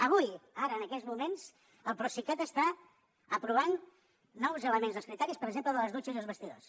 avui ara en aquests moments el procicat està aprovant nous elements dels criteris per exemple de les dutxes i els vestidors